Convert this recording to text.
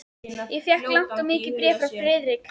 Ég fékk langt og mikið bréf frá Friðriki.